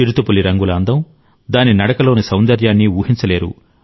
చిరుతపులి రంగుల అందం దాని నడకలోని సౌందర్యాన్ని ఊహించలేరు